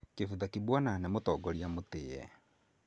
Kivutha Kibwana nĩ mũtongoria mũtĩĩ.